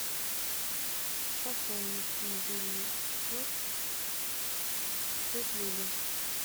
пополнить мобильный счет тетя люда